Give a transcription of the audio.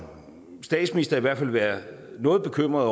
statsminister i hvert fald være noget bekymret